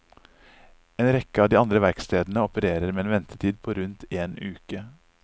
En rekke av de andre verkstedene opererer med en ventetid på rundt en uke.